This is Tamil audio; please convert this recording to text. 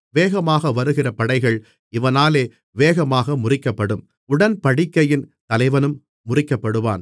வேகமாக வருகிற படைகள் இவனாலே வேகமாக முறிக்கப்படும் உடன்படிக்கையின் தலைவனும் முறிக்கப்படுவான்